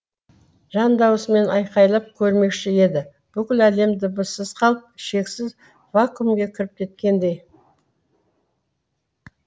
жан дауысымен айқайлап көрмекші еді бүкіл әлем дыбыссыз қалып шексіз вакуумге кіріп кеткендей